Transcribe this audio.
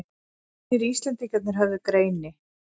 Hinir Íslendingarnir höfðu greini